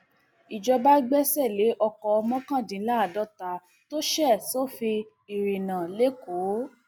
ìjọba gbẹsẹ lé ọkọ mọkàndínláàádọta tó ṣe sófin ìrìnnà lẹkọọ